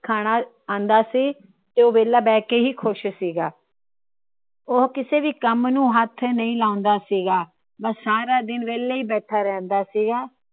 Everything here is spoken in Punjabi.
ਖਾਂਣਾ ਆਉਂਦਾ ਸੀ ਤੇ ਉਹ ਵੇਹਲਾ ਬਹਿ ਕੇ ਹੀ ਖੁਸ਼ ਸੀ ਗਾ। ਉਹ ਕਿਸੇ ਵੀ ਕੰਮ ਨੂੰ ਹੱਥ ਨਹੀਂ ਲਾਉਂਦਾ ਸੀ ਗਾ । ਬੱਸ ਸਾਰਾ ਦਿਨ ਵੇਹਲਾ ਹੀ ਬੈਠਾ ਰਹਿੰਦਾ ਸੀ।